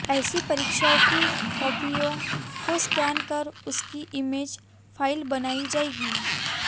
ऐसी परीक्षाओं की कॉपियों को स्कैन कर उनकी इमेज फाइल बनाई जाएगी